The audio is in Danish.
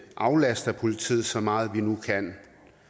aflaster politiet så meget som vi nu kan